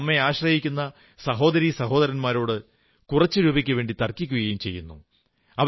എന്നാൽ നമ്മെ ആശ്രയിക്കുന്ന സഹോദരീ സഹോദരന്മാരോട് കുറച്ചു രൂപയ്ക്കുവേണ്ടി തർക്കിക്കുകയും ചെയ്യുന്നു